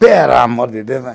Pelo amor de Deus, né